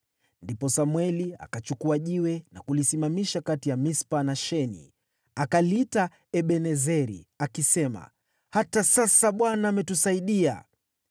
Ndipo Samweli akachukua jiwe na kulisimamisha kati ya Mispa na Sheni. Akaliita Ebenezeri, akisema, “Hata sasa Bwana ametusaidia.”